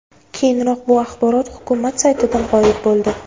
Keyinroq bu axborot hukumat saytidan g‘oyib bo‘ldi.